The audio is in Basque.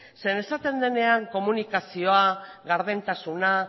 zeren esaten denean komunikazioa gardentasuna